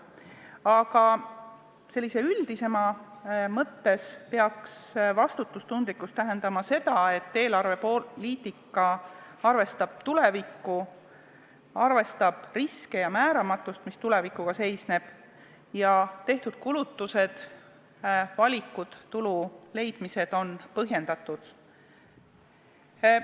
Aga üldisemas mõttes peaks vastutustundlikkus tähendama seda, et eelarvepoliitika arvestab tulevikku, arvestab riske ja määramatust, mis tulevikuga kaasnevad, ja tehtud kulutused ning valikud tulude leidmisel on põhjendatud.